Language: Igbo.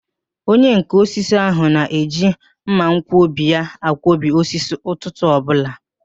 Onyenká osisi ahụ na-eji mmanwkọbi ya akwọbi osisi ụtụtụ ọbụla